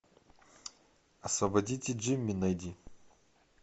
освободите джимми найди